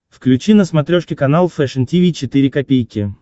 включи на смотрешке канал фэшн ти ви четыре ка